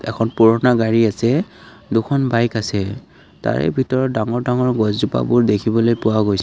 এখন পুৰণা গাড়ী আছে দুখন বাইক আছে তাৰে ভিতৰত ডাঙৰ ডাঙৰ গছ জোপাবোৰ দেখিবলৈ পোৱা গৈছে।